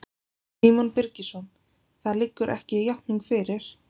Símon Birgisson: Það liggur ekki játning fyrir?